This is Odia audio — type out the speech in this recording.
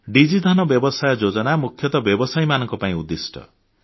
ଡିଜି ଧନ ବ୍ୟାପାର ଯୋଜନା ମୁଖ୍ୟତଃ ବ୍ୟବସାୟୀମାନଙ୍କ ପାଇଁ ଉଦ୍ଦିଷ୍ଟ